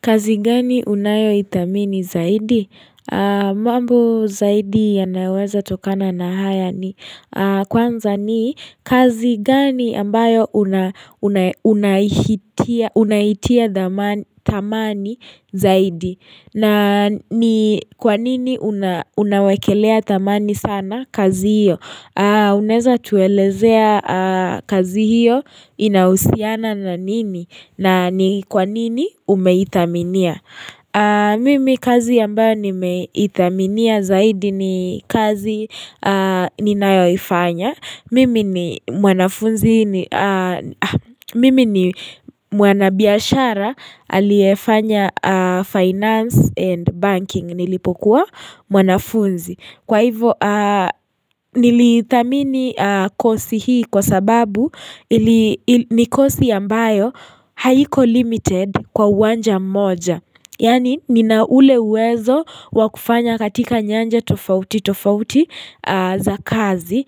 Kazi gani unayoitamini zaidi? Mambo zaidi yanayoweza tokana na haya ni kwanza ni kazi gani ambayo unahitia tamani zaidi. Na ni kwanini unawakelea tamani sana kazi hiyo? Uneza tuelezea kazi hiyo inausiana na nini? Na ni kwanini umeitaminia? Mimi kazi yambayo nimeitaminia zaidi ni kazi ninayoifanya. Mimi ni mwanabiyashara aliefanya finance and banking nilipokuwa mwanafunzi. Kwa hivo nilitamini kosi hii kwa sababu ni kosi ambayo haiko limited kwa uwanja mmoja Yani nina ule uwezo wakufanya katika nyanja tofauti tofauti za kazi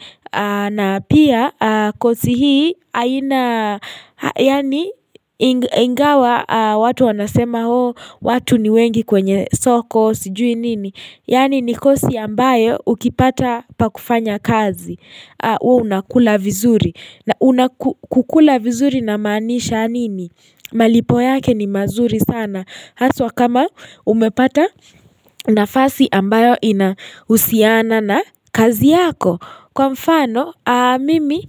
na pia kosi hii ingawa watu wanasema ho watu ni wengi kwenye soko siju nini Yani nikosi ambayo ukipata pakufanya kazi Uo unakula vizuri na unakukula vizuri namanisha nini? Malipo yake ni mazuri sana Haswa kama umepata nafasi ambayo inahusiana na kazi yako Kwa mfano mimi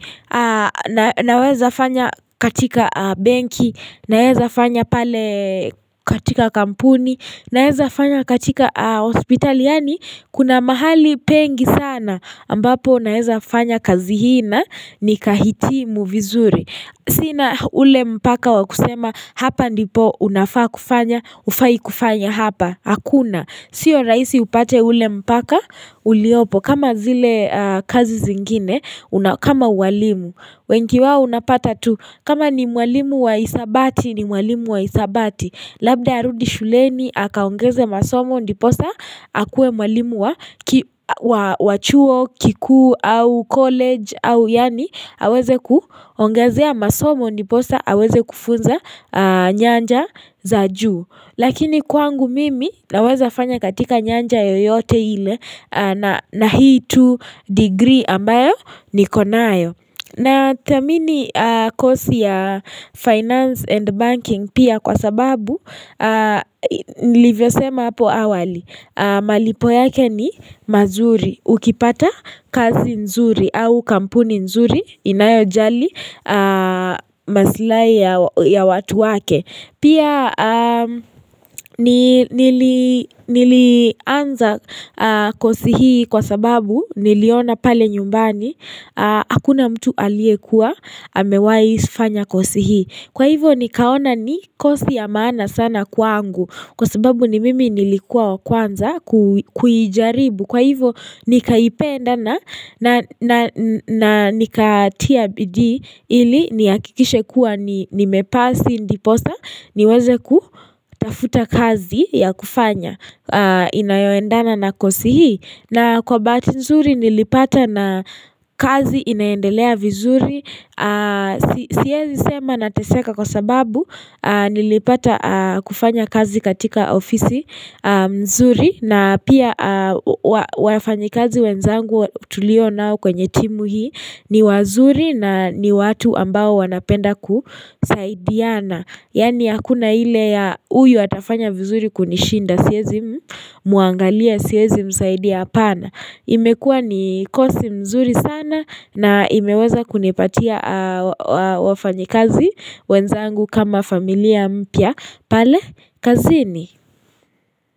naweza fanya katika banki Naweza fanya pale katika kampuni Naeza fanya katika hospitali yani kuna mahali pengi sana ambapo naeza fanya kazi hina nikahitimu vizuri Sina ule mpaka wa kusema hapa ndipo unafaa kufanya Ufai kufanya hapa, hakuna Sio raisi upate ule mpaka uliopo kama zile kazi zingine, kama uwalimu wengi wao unapata tu kama ni uwalimu wa isabati, ni uwalimu wa isabati Labda arudi shuleni hakaongeze masomo ndiposa hakuwe mwalimu wa wachuo kiku au college au yani haweze kuhongezea masomo ndiposa haweze kufunza nyanja za juu. Lakini kwangu mimi naweza fanya katika nyanja yoyote ile na hii tu degree ambayo nikonayo. Natamini kosi ya finance and banking pia kwa sababu, nilivyo sema hapo awali, malipo yake ni mazuri, ukipata kazi nzuri au kampuni nzuri inayojali masilai ya watu wake. Pia nilianza kosi hii kwa sababu niliona pale nyumbani Hakuna mtu alie kuwa amewai fanya kosi hii Kwa hivyo nikaona ni kosi ya maana sana kwa angu Kwa sababu ni mimi nilikuwa kwanza kujaribu Kwa hivyo nikaipenda na nika tia bidii ili niakikishe kuwa ni mepasi ndiposa niweze kutafuta kazi ya kufanya inayoendana na kosi hii na kwa bahati nzuri nilipata na kazi inaendelea vizuri Siyezi sema nateseka kwa sababu nilipata kufanya kazi katika ofisi nzuri na pia wafanyi kazi wenzangu tulio nao kwenye timu hii ni wazuri na ni watu ambao wanapenda kusaidiana Yani akuna hile ya uyu atafanya vizuri kunishinda siezi muangalia siezi msaidia apana imekua ni kosi mzuri sana na imeweza kunipatia wafanyikazi wenzangu kama familia mpya pale kazini.